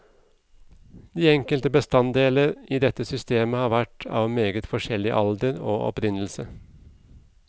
De enkelte bestandeler i dette system har vært av meget forskjellig alder og opprinnelse.